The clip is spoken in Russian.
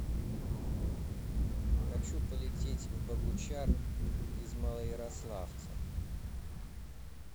хочу полететь в богучар из малоярославца